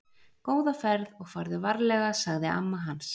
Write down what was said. Góða ferð og farðu varlega, sagði amma hans.